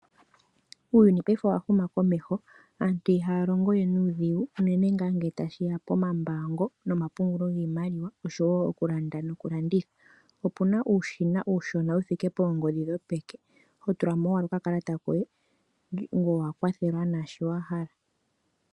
Uuyuni paife owahuma komeho. Aantu ihaya longo we nuudhigu uunene ngaa ngele tashiya pomambaango nomapungulo giimaliwa osho wo okulanda nokulanditha. Opuna uushina wuthike poongodhi dhopeke hotula mo ashike okakalata koye ngoye owakwathelwa naashi wahala.